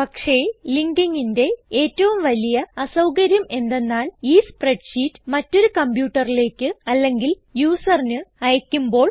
പക്ഷേ ലിങ്കിങിന്റെ ഏറ്റവും വലിയ അസൌകര്യം എന്തെന്നാൽ ഈ സ്പ്രെഡ്ഷീറ്റ് മറ്റൊരു കംപ്യൂട്ടറിലേക്ക് അല്ലെങ്കിൽ യൂസറിന് അയക്കുമ്പോൾ